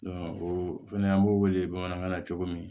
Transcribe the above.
o fɛnɛ an b'o wele bamanankan na cogo min